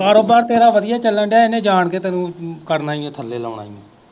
ਕਾਰੋਬਾਰ ਤੇਰਾ ਵਧੀਆ ਚੱਲਣ ਦਿਆ ਇਨੇ ਜਾਨ ਕ ਤੈਨੂੰ ਕਰਨਾ ਈ ਓ ਥੱਲੇ ਲਾਉਣਾ ਉਹ।